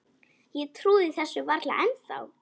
Ég trúi þessu varla ennþá.